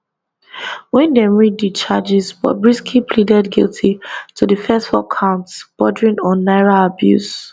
wen dem read di charges bobrisky pleaded guilty to di first four counts bordering on naira abuse